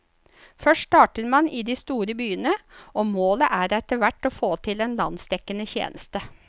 Først starter man i de store byene, og målet er etterhvert å få til en landsdekkende tjeneste.